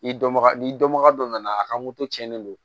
I dɔnbaga n'i dɔnbaga dɔ nana a ka moto cɛnnen don